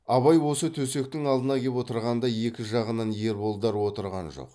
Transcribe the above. абай осы төсектің алдына кеп отырғанда екі жағынан ерболдар отырған жоқ